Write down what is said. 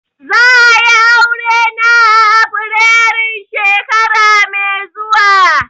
Za'a yi Aure na a afirairun shekara mai zuwa.